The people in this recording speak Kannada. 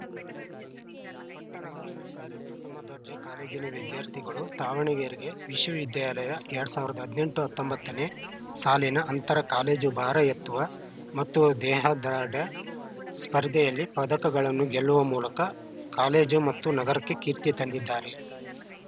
ಪಟ್ಟಣದ ಸರ್ಕಾರಿ ಪ್ರಥಮ ದರ್ಜೆ ಕಾಲೇಜಿನ ವಿದ್ಯಾರ್ಥಿಗಳು ದಾವಣಗೆರೆ ವಿಶ್ವವಿದ್ಯಾಲಯದ ಎರಡ್ ಸಾವಿರದ ಹದಿನೆಂಟು ಹತ್ತೊಂಬತ್ತ ನೇ ಸಾಲಿನ ಅಂತರ ಕಾಲೇಜು ಭಾರ ಎತ್ತುವ ಮತ್ತು ದೇಹದಾಡ್ರ್ಯ ಸ್ಪರ್ಧೆಯಲ್ಲಿ ಪದಕಗಳನ್ನು ಗೆಲ್ಲುವ ಮೂಲಕ ಕಾಲೇಜು ಮತ್ತು ನಗರಕ್ಕೆ ಕೀರ್ತಿ ತಂದಿದ್ದಾರೆ